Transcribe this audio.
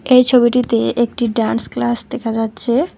এই ছবিটিতে একটি ডান্স ক্লাস দেখা যাচ্ছে।